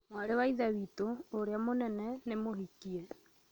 Mwarĩ wa ithe wĩtu, uũrĩa mũnene, nĩ mũhikie